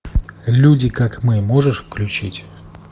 люди как мы можешь включить